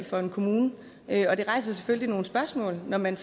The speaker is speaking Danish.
for en kommune og det rejser selvfølgelig nogle spørgsmål når man